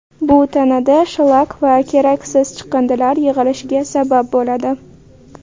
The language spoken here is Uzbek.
Bu tanada shlak va keraksiz chiqindilar yig‘ilishiga sabab bo‘ladi.